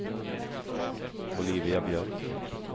Olivia Björk